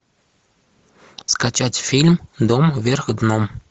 скачать фильм дом вверх дном